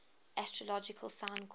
astrological sign called